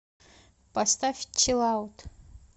поставь чилаут